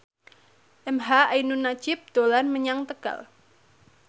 emha ainun nadjib dolan menyang Tegal